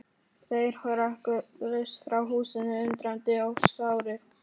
Þeir hrökkluðust frá húsinu, undrandi og sárir.